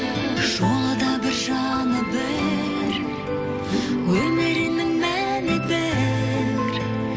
жолы да бір жаны бір өмірінің мәні бір